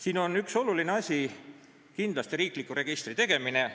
Siin on üks oluline asi kindlasti riikliku registri tegemine.